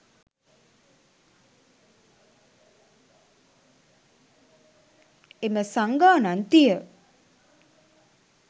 එම සංඝාණත්තිය